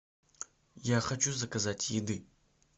я хочу заказать еды